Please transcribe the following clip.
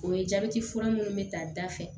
O ye jabɛti fura munnu be ta da fɛ